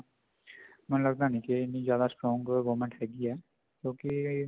ਮੈਨੂੰ ਲੱਗਦਾ ਨੀ ਕੇ ਇੰਨੀ strong government ਹੈਗੀ ਹੈ ਕਿਉਂਕਿ